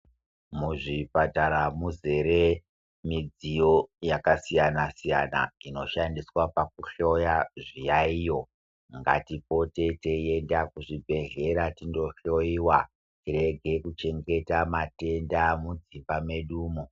Muzvipatara muzere midziyo yakasiyana-siyana inoshandiswa pakuhloya zviyaiyo. Ngatipoteienda kuzvibhedhlera tindo hloiwa tirege kuchengeta matenda mudzimba medumo.